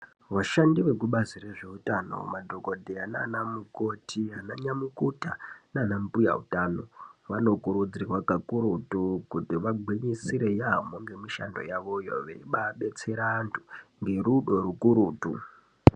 Vashandi vekubazi rezveutano madhokodheya nana mukoti, ananyamukuta nanambuya utano vanokurudzirwa kakurutu kuti vagwinyisire yamho nemishando yavoyo veibabetsera vantu nerudo rukurutu.